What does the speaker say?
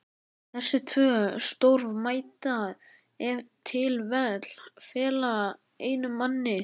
Þessi tvö störf mætti ef til vill fela einum manni.